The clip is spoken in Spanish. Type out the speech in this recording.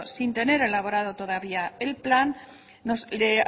sin tener elaborado todavía el plan le